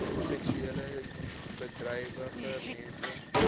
seksueel bedrywige mense